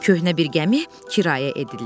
Köhnə bir gəmi kirayə edildi.